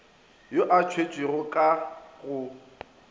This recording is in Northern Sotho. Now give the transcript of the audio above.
yo a thwetšwego ka go